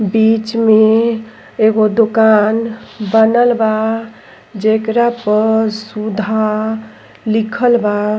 बीच में एगो दोकान बनल बा जेकरा पर सुधा लिखल बा।